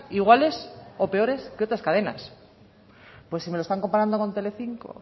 iguales o peores que otras cadenas pues si me lo están comparando con tele cinco